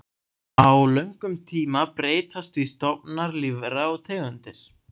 Á löngum tíma breytast því stofnar lífvera og tegundir.